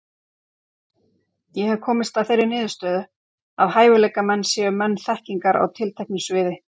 Ég hef komist að þeirri niðurstöðu, að hæfileikamenn séu menn þekkingar á tilteknu sviði.